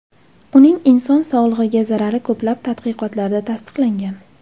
Uning inson sog‘lig‘iga zarari ko‘plab tadqiqotlarda tasdiqlangan .